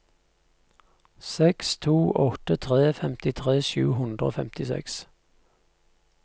seks to åtte tre femtitre sju hundre og femtiseks